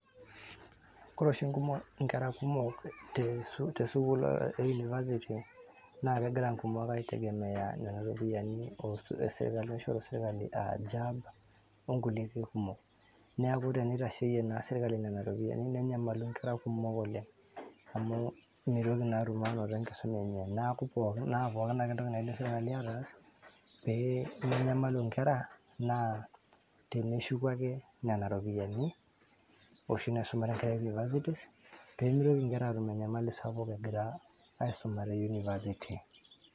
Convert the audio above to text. Ore oshi inkera kumok te CS[University school]CS naa kegira inkumok aitegemea nena ropiyani naishoru CS[sirkali]CS enaa CS[jab]CS onkulie ake kumok neeku tenitasheyie naa CS[serkali]CS nena ropiyani nenyamalu inkera kumok oleng' amu meitoki naa atum enkisuma enye naa pooki ake entoki naas CS[serkali]CS pemenyamalu inkera naa teneshuku ake nena ropiyani oshi naisumare inkera e CS[Universities]CS peyie meitoki inkera aatum enyamali sapuk egira aisuma te CS[university]CS.